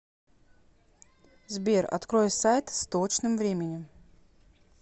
сбер открой сайт с точным временем